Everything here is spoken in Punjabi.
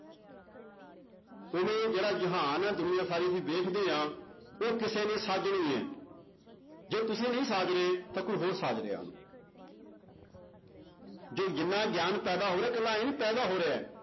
ਹੁਣ ਇਹ ਜਿਹੜਾ ਜਹਾਨ ਹੈ ਦੁਨੀਆਂ ਸਾਰੀ ਅਸੀਂ ਵੇਖਦੇ ਹਾਂ ਉਹ ਕਿਸੇ ਨੇ ਸਾਜਣੀ ਹੈ ਜੇ ਤੁਸੀਂ ਉਹ ਨਹੀਂ ਸਾਜ ਰਹੇ ਤਾਂ ਕੋਈ ਹੋਰ ਸਾਜ ਰਿਹਾ ਉਹਨੂੰ ਜੋ ਜਿੰਨਾ ਗਿਆਨ ਪੈਦਾ ਹੋ ਰਿਹਾ ਇਕੱਲਾ ਆਈਂ ਨੀ ਪੈਦਾ ਹੋ ਰਿਹਾ